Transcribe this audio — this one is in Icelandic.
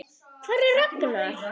Hvar er Ragnar?